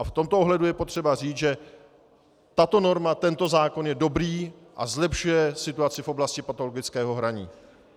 A v tomto ohledu je potřeba říci, že tato norma, tento zákon je dobrý a zlepšuje situaci v oblasti patologického hraní.